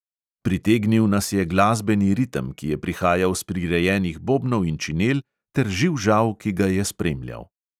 Pritegnil nas je glasbeni ritem, ki je prihajal s prirejenih bobnov in činel, ter živžav, ki ga je spremljal.